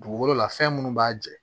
Dugukolo la fɛn minnu b'a jɛ